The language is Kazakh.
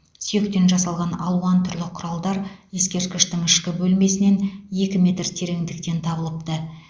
сүйектен жасалған алуан түрлі құралдар ескерткіштің ішкі бөлмесінен екі метр тереңдіктен табылыпты